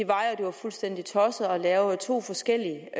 var at det var fuldstændig tosset at lave to forskellige